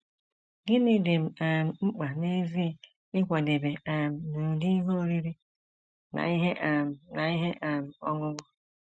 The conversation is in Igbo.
Gịnị dị m um mkpa n’ezie ịkwadebe um n’ụdị ihe oriri na ihe um na ihe um ọṅụṅụ?